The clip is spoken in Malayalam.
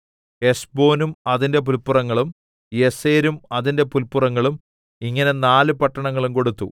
ഹെശ്ബോനും അതിന്റെ പുല്പുറങ്ങളും യസേരും അതിന്റെ പുല്പുറങ്ങളും ഇങ്ങനെ നാല് പട്ടണങ്ങളും കൊടുത്തു